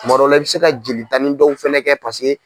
Kuma dɔ la i bɛ se ka jeli tan ni dɔw fɛnɛ kɛ paseke.